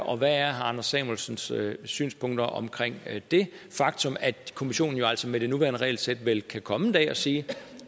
og hvad er herre anders samuelsens synspunkter om det faktum at kommissionen jo altså med det nuværende regelsæt vel kan komme en dag og sige